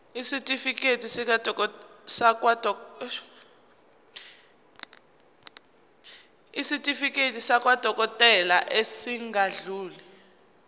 isitifiketi sakwadokodela esingadluli